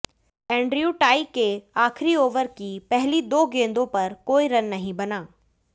Andrew Tye के आखिरी over की पहली दो गेंदों पर कोई रन नहीं बना